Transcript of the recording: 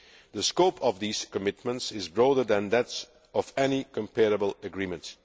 The scope of these commitments is broader than that of any comparable agreement.